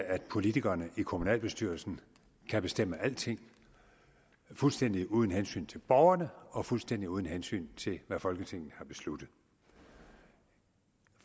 at politikerne i kommunalbestyrelsen kan bestemme alting fuldstændig uden hensyn til borgerne og fuldstændig uden hensyn til hvad folketinget har besluttet